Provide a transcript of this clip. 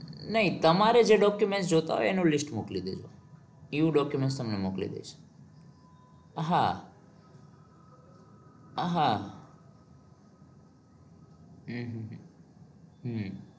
નહિ તમારે જે document જોવતા હોય એનું list મોકલી દયો. એ document તમને મોકલી દઈશ. હા હા અમ હમ હમ